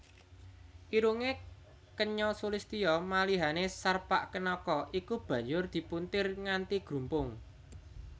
Irungé kenya sulistya malihané Sarpakenaka iku banjur dipuntir nganti grumpung